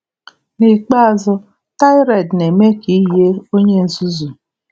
Nikpeazụ, tirade na-eme ka ị yie onye nzuzu.